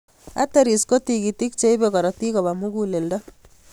Arteries ko tigitik che ipe korotik kopa muguleldo.